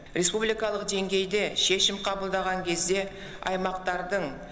республикалық деңгейде шешім қабылдаған кезде аймақтардың